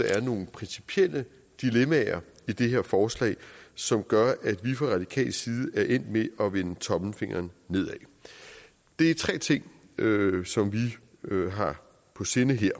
der er nogle principielle dilemmaer i det her forslag som gør at vi fra radikal side er endt med at vende tommelfingeren nedad det er tre ting som vi har på sinde her